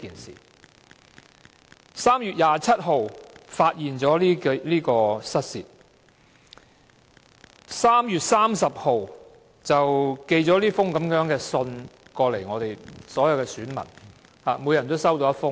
政府當局在3月27日發現失竊事件，並在3月30日寄出這封信予每一位選民。